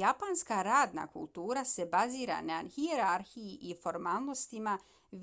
japanska radna kultura se bazira na hijerarhiji i formalnostima